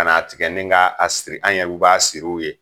Kana a tigɛ ni ka a siri an yɛr'u b'a siri u ye.